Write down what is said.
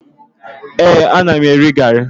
Ee, ana m eri garị